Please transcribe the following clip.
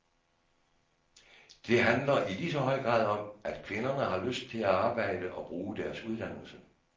Det handler i ligeså høj grad om, at kvinderne har lyst til at arbejde og bruge deres uddannelse.